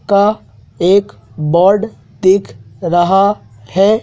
का एक बोर्ड दिख रहा है।